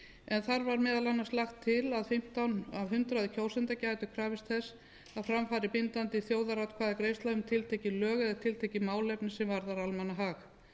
en þar var meðal annars lagt til að fimmtán af hundraði kjósenda gætu krafist þess að fram færi bindandi þjóðaratkvæðagreiðsla um tiltekin lög eða tiltekið málefni sem varðaði almannahag